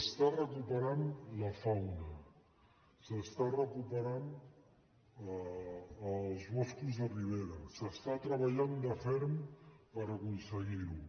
es recupera la fauna es recuperen els boscos de ribera es treballa de ferm per aconseguir ho